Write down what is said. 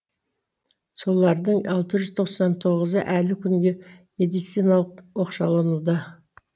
солардың алты жүз тоқсан тоғызы әлі күнге медициналық оқшалануда